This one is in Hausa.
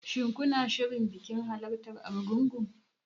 Shin kuna shirin halartar bikin Argungu?